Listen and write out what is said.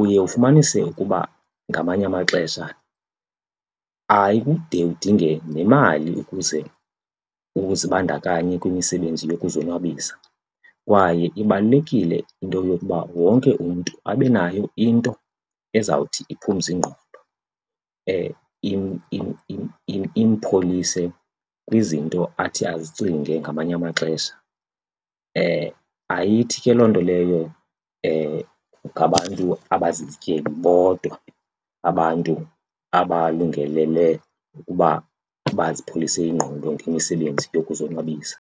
Uye ufumanise ukuba ngamanye amaxesha ayikude udinge nemali ukuze uzibandakanye kwimisebenzi yokuzonwabisa kwaye ibalulekile into yokuba wonke umntu abe nayo into ezawuthi iphumze ingqondo impholise kwizinto athi azicinge ngamanye amaxesha. Ayithi ke loo nto leyo ngabantu abazizityebi bodwa abantu abalungelele ukuba bazipholise ingqondo ngemisebenzi yokuzonwabisa.